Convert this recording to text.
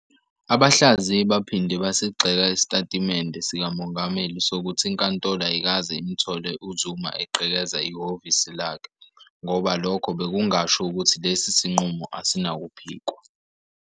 Abahlaziyi baphinde basigxeka isitatimende sikaMongameli sokuthi iNkantolo ayikaze imthole uZuma egqekeza ihhovisi lakhe, ngoba lokho bekungasho ukuthi lesi sinqumo asinakuphikwa.